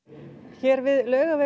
hér við Laugaveg